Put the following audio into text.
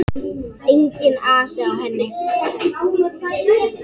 Enginn asi á henni.